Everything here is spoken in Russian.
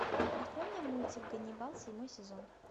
открой мне мультик ганнибал седьмой сезон